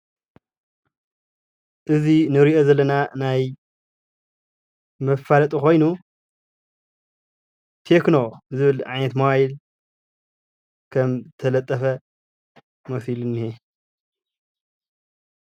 እዚ እንሪኦ ዘለና ናይ መፋለጢ ኮይኑ ቴክኖ ዝብል ዓይነት ሞባይል ከም ተለጠፈ መሲሊ እኒሀ፡፡